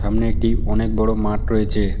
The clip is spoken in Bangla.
সামনে একটি অনেক বড় মাঠ রয়েছে।